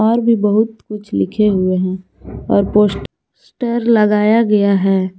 और भी बहुत कुछ लिखे हुए है और पोस्टर लगाया गया है।